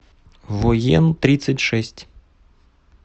воентридцатьшесть